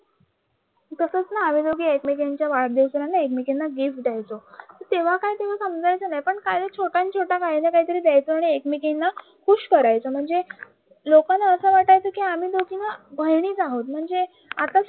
आम्ही दोघी एकमेकींच्या वाढदिवसाला आम्ही दोघी एकमेकींना गिफ्ट द्यायचं तेव्हा काय तेव्हा समजायचं नाही पण पण छोट्या छोट्या काहीतरी द्यायचं एकमेकींना खुश करायचं म्हणजे लोकांना असं वाटायचं ना आम्ही दोघी बहिणीच आहोत म्हणजे